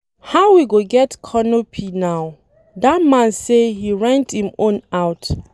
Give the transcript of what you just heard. How we go get canopy now? Dat man say he rent im own out.